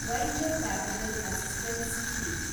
venture capital assistance scheme